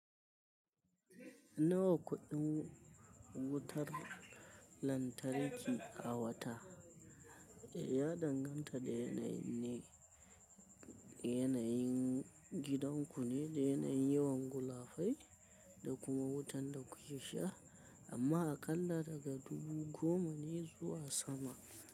Nawa kuɗin wutar lantarki a wata? Ya danganta da yanayin ne, yanayin gidan ku ne, da yanayin yawan gula fai da kuma wutan da ku ke sha. Amma aƙalla daga dubu goma ne zuwa sama.